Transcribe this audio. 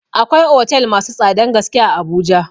Akwai otel masu tsadan gaske a Abuja.